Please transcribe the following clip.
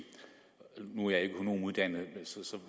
nu er jeg ikke økonomiuddannet så